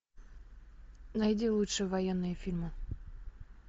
найди лучшие военные фильмы